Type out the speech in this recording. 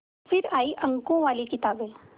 फिर आई अंकों वाली किताबें